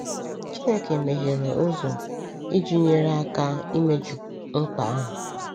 Chineke meghere ụzọ iji nyere aka imeju mkpa ahụ.